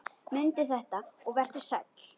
Mundu þetta og vertu sæll!